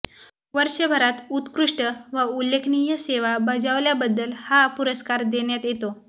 वर्षभरात उत्कृष्ट व उल्लेखनीय सेवा बजावल्याबद्दल हा पुरस्कार देण्यात येतो